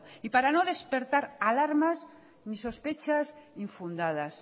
y para no despertar alarmas ni sospechas infundadas